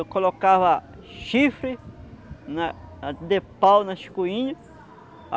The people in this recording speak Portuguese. Eu colocava chifre na de pau nas coinhas.